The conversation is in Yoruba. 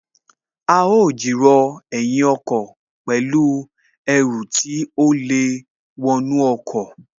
A ó jìrọ̀ ẹ̀yìn ọkọ̀ pẹ̀lú Ẹru tí ó lè wọnú ọkọ̀